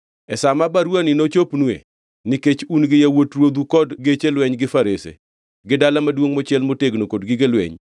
“E sa ma baruwani nochopnue, nikech un gi yawuot ruodhu kod geche lweny gi farese, gi dala maduongʼ mochiel motegno kod gige lweny,